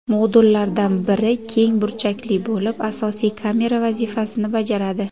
Modullardan biri keng burchakli bo‘lib, asosiy kamera vazifasini bajaradi.